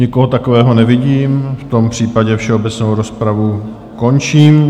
Nikoho takového nevidím, v tom případě všeobecnou rozpravu, končím.